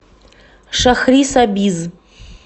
шахрисабиз